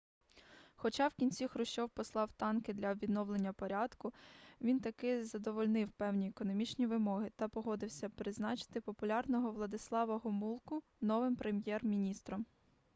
хоча в кінці хрущов послав танки для відновлення порядку він таки задовольнив певні економічні вимоги та погодився призначити популярного владислава гомулку новим прем'єр-міністром